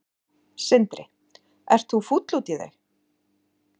Sindri: Ert þú fúll út í þau?